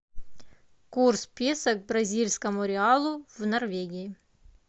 курс песо к бразильскому реалу в норвегии